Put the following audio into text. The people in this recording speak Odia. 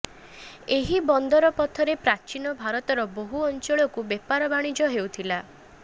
ଏହି ବନ୍ଦର ପଥରେ ପ୍ରାଚୀନ ଭାରତର ବହୁ ଅଞ୍ଚଳକୁ ବେପାର ବଣିଜ ହେଉଥିଲା